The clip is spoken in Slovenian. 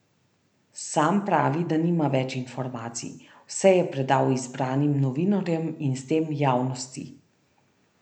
Sam pravi, da nima več informacij, vse je predal izbranim novinarjem in s tem javnosti.